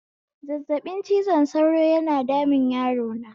Zazzaɓin cizon sauro yana damun yarona